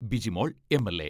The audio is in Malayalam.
ബിജിമോൾ എം.എൽ.എ.